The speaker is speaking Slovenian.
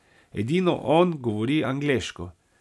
Edino on govori angleško.